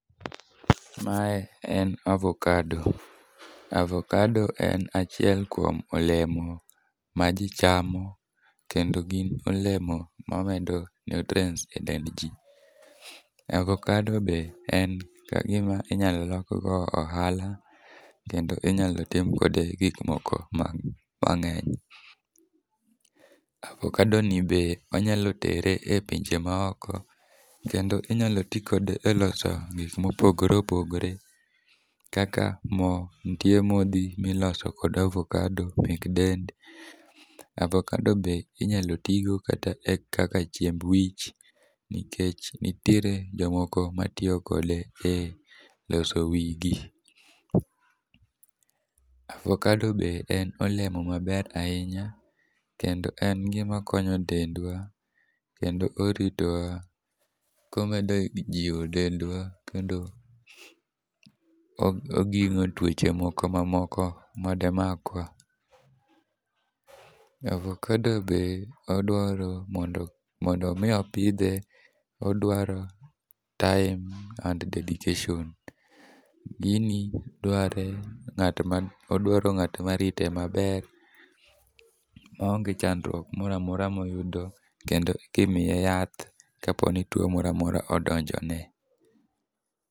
Mae en avokado, avokado en achiel kuom olemo maji chamo kendo gin olemo mamedo nutrients[c] edendji. Avokado be en gima inyalo lokgo ohala kendo inyalo tim kode gik mang'eny. Avokado ni be inyalotere e pinje maoko kendo inyalo ti kode e loso gik mopogore opogore kaka mo nitie modhi miloso kod avokado mek dend. Avokado be inyalo ti go kata e kaka chiemb wich nikech nitiere jomoko matiyokode e loso wigi. Avokado be en olemo maber ahinya kendo en gima konyo dendwa kendo oritowa komedo jiwo dendwa kendo oging'o tuoche moko mamoko madi makwa. Avokado be odwaro mondo mondo mi opidhe, oduaro time and dedication. Gini dwarre ng'at man , odwaro ng'at marite maber maonge chandruok moro amora moyudo kendo ka imiye yath kopo ni tuo moro amora odonjone.